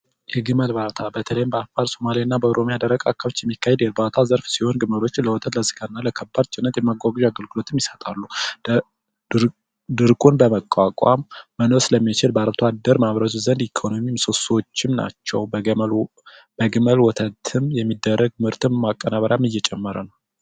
የግመል እርባታ በተለይ በደቡብ እና በሶማሊያ ክልል አካባቢ በብዛት የሚካሄድ የእርባታ አይነት ሲሆን ግመሎች ወተት እና ለከባድ ጭነት ማጓጓዣ አገልግሎት ይሰጣሉ ድርቁን በመቋቋም መኖር ስለሚችሉ ለአርሶ አደር ምሰሶዎችም ናቸው በግመል ወተት የሚደረግ የምርት ማቀናበሪያም እየጨመረ ነው።